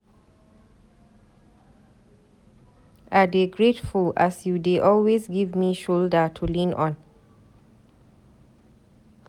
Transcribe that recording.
I dey grateful as you dey always give me shoulder to lean on.